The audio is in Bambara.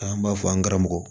An b'a fɔ an karamɔgɔ